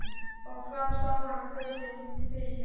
Og þá sá hann föður sinn fyrir sér.